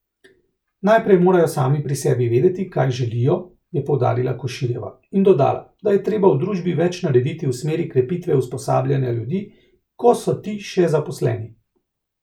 Najprej morajo sami pri sebi vedeti, kaj želijo, je poudarila Koširjeva in dodala, da je treba v družbi več narediti v smeri krepitve usposabljanja ljudi, ko so ti še zaposleni.